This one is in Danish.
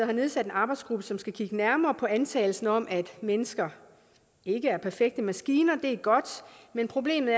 har nedsat en arbejdsgruppe som skal kigge nærmere på antagelsen om at mennesker ikke er perfekte maskiner det er godt men problemet